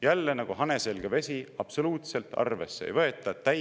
Jälle nagu hane selga vesi, absoluutselt arvesse ei võeta!